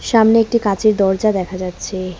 সামনে একটি কাঁচের দরজা দেখা যাচ্ছে।